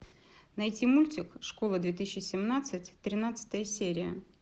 найти мультик школа две тысячи семнадцать тринадцатая серия